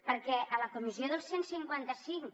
perquè a la comissió del cent i cinquanta cinc